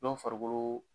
Dɔ farikolo